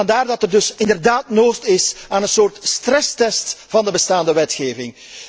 Vandaar dat er dus inderdaad nood is aan een soort stresstest voor de bestaande wetgeving.